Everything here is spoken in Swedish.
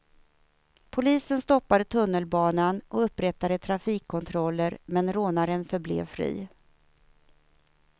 Polisen stoppade tunnelbanan och upprättade trafikkontroller men rånaren förblev fri.